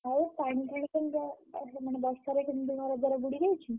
ଆଉ ପାଣିଫାଣି କେମିତିଆ ଆହା ମାନେ ବର୍ଷାରେ କେମିତି ଘରଦ୍ଵାର ବୁଡିଯାଇଛି?